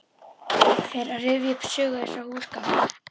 Fer að rifja upp sögu þessara húsgagna.